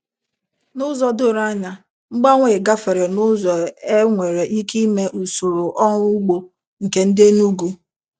N'ụzọ doro anya, mgbanwe a gafere n'ụzọ enwere ike ịme usoro ọrụ ugbo nke ndị Enugu